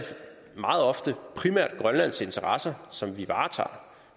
meget ofte primært grønlands interesser som vi varetager